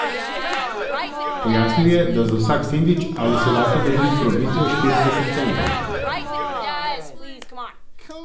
Pojasnil je, da za vsak sendvič ali solato dobi provizijo štirideset centov.